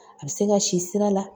A bɛ se ka si sira la